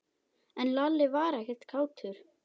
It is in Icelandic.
En Lalli var ekkert kátur.